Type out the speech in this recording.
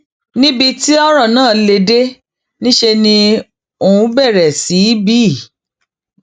níbi tọrọ náà lè dé níṣẹ ni òun bẹrẹ sí í bí